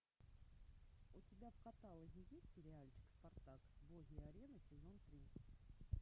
у тебя в каталоге есть сериальчик спартак боги арены сезон три